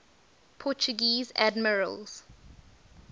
portuguese admirals